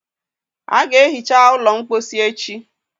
A ga-ehicha ụlọ mposi echi.